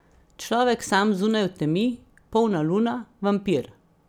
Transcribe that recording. Človek sam zunaj v temi, polna luna, vampir.